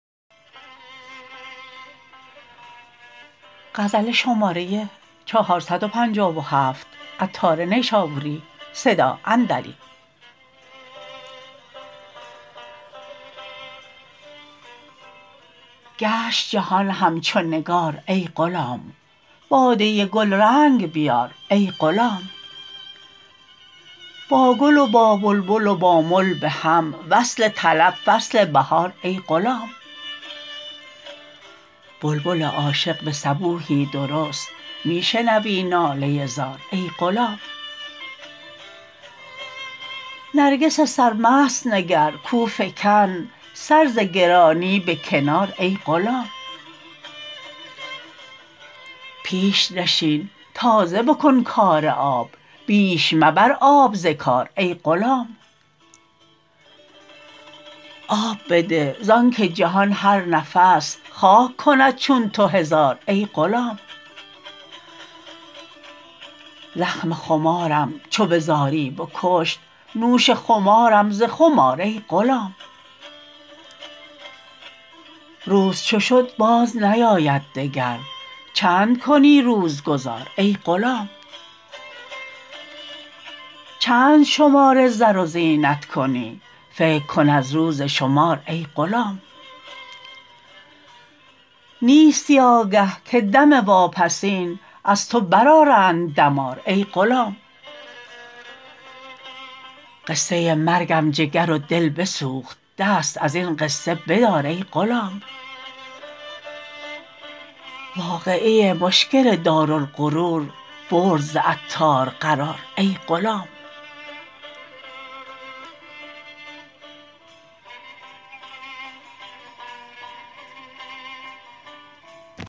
گشت جهان همچو نگار ای غلام باده گلرنگ بیار ای غلام با گل و با بلبل و با مل بهم وصل طلب فصل بهار ای غلام بلبل عاشق به صبوحی درست می شنوی ناله زار ای غلام نرگس سرمست نگر کاو فکند سر ز گرانی به کنار ای غلام پیش نشین تازه بکن کار آب بیش مبر آب ز کار ای غلام آب بده زانکه جهان هر نفس خاک کند چون تو هزار ای غلام زخم خمارم چو به زاری بکشت نوش خمارم ز خم آر ای غلام روز چو شد باز نیاید دگر چند کنی روز گذار ای غلام چند شمار زر و زینت کنی فکر کن از روز شمار ای غلام نیستی آگه که دم واپسین از تو برآرند دمار ای غلام قصه مرگم جگر و دل بسوخت دست ازین قصه بدار ای غلام واقعه مشکل دارالغرور برد ز عطار قرار ای غلام